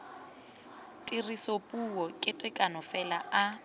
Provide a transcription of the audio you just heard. tirisopuo ka tekano fela a